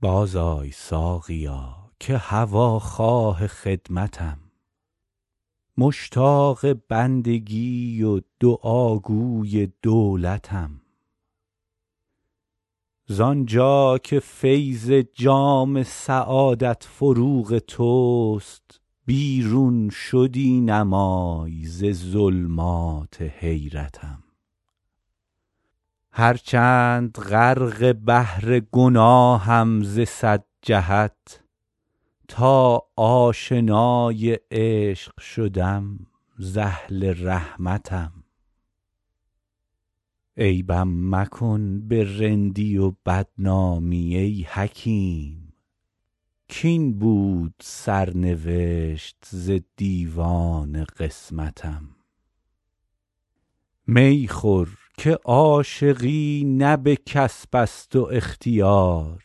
بازآی ساقیا که هواخواه خدمتم مشتاق بندگی و دعاگوی دولتم زان جا که فیض جام سعادت فروغ توست بیرون شدی نمای ز ظلمات حیرتم هرچند غرق بحر گناهم ز صد جهت تا آشنای عشق شدم ز اهل رحمتم عیبم مکن به رندی و بدنامی ای حکیم کاین بود سرنوشت ز دیوان قسمتم می خور که عاشقی نه به کسب است و اختیار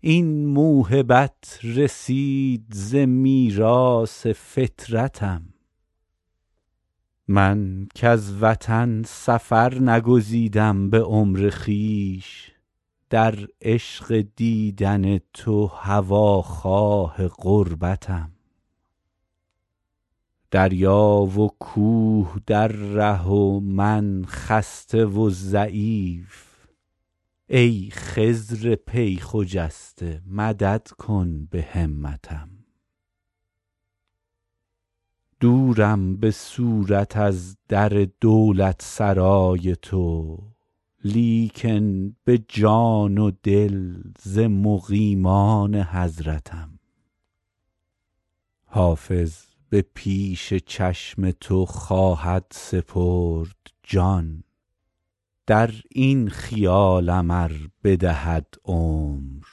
این موهبت رسید ز میراث فطرتم من کز وطن سفر نگزیدم به عمر خویش در عشق دیدن تو هواخواه غربتم دریا و کوه در ره و من خسته و ضعیف ای خضر پی خجسته مدد کن به همتم دورم به صورت از در دولتسرای تو لیکن به جان و دل ز مقیمان حضرتم حافظ به پیش چشم تو خواهد سپرد جان در این خیالم ار بدهد عمر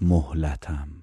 مهلتم